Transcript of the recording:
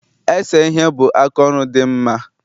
Ese ihe bụ aka ọrụ dị nma